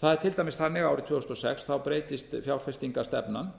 það er til dæmis þannig að árið tvö þúsund og sex breytist fjárfestingarstefnan